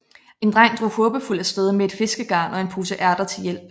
En dreng drog håbefuld af sted med et fiskegarn og en pose ærter til hjælp